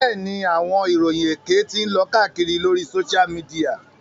Bẹ́ẹ̀ni, awọn iroyin ékè ti ǹ lo kàakiri lori Sósial mìdìya